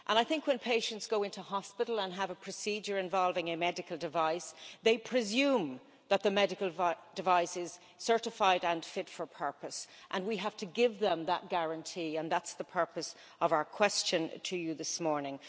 I think when patients go into hospital and have a procedure involving a medical device they presume that the medical device is certified and fit for purpose and we have to give them that guarantee, and that's the purpose of our question to you this morning.